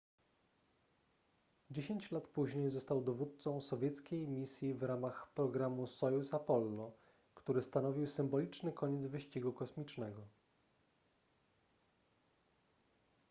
dziesięć lat później został dowódcą sowieckiej misji w ramach programu sojuz-apollo który stanowił symboliczny koniec wyścigu kosmicznego